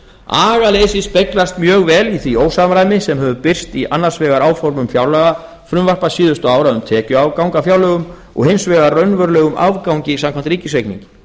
agaleysið speglast mjög vel í því ósamræmi sem hefur birst í annars vegar áformum fjárlagafrumvarpa síðustu ára um tekjuafgang af fjárlögum og hins vegar raunverulegum afgangi samkvæmt ríkisreikningi